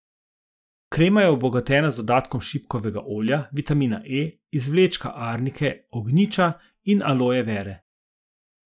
Krema je obogatena z dodatkom šipkovega olja, vitamina E, izvlečka arnike, ognjiča in aloje vere.